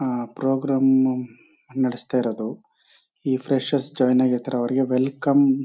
ಅಹ್ program ನಡೆಸ್ತಾ ಇರೋದು ಈ ಫ್ರೆಷೆರ್ಸ್ ಜಾಯಿನ್ ಆಗಿರ್ತಾರೆ ಅವ್ರ್ಗೆ ವೆಲ್ಕಮ್ --